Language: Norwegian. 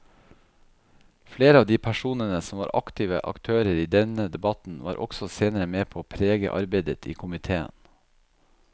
Flere av de personene som var aktive aktører i denne debatten var også senere med på å prege arbeidet i komiteen.